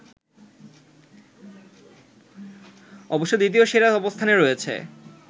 অবশ্য দ্বিতীয় সেরার অবস্থানে রয়েছে